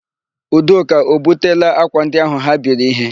Udoka o butela ákwà ndị áhụ̀ ha biri íhé?